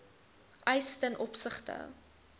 eis ten opsigte